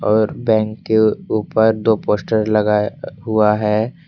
और बैंक के ऊपर दो पोस्टर लगाया हुआ है।